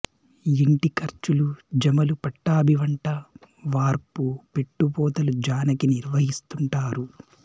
ఇంటి ఖర్చులు జమలు పట్టాభి వంటా వార్పూ పెట్టుపోతలు జానకి నిర్వహిస్తుంటారు